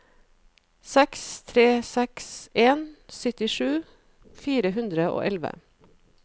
seks tre seks en syttisju fire hundre og elleve